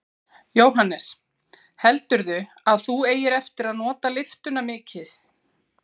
Jóhannes: Heldurðu að þú eigir eftir að nota lyftuna mikið?